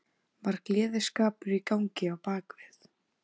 Var gleðskapur í gangi á bak við?